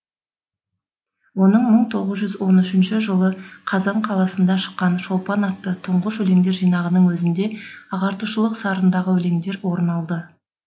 оның мың тоғыз жүз он үшінші жылы қазан қаласында шыққан шолпан атты тұңғыш өлеңдер жинағының өзінде ағартушылық сарындағы өлеңдер орын алды